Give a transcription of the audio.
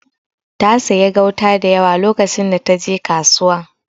Ta siya gauta dayawa lokacin da taje kasuwa.